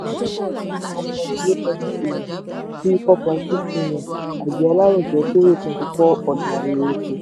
one point zero seven trillion sí four point six million àgbẹ̀ alárojẹ kórè twenty four ọjà erè-oko.